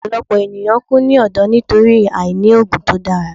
Ọpọlọpọ eniyan n ku ni ọdọ nitori aini oogun to dara